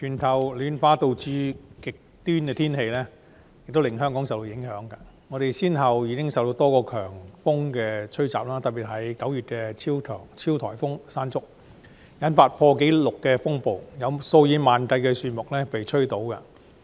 主席，全球暖化引起極端天氣，香港因而受多個強風吹襲，特別是9月的超級颱風"山竹"，引發前所未見的破壞，數以萬計的樹木被吹倒。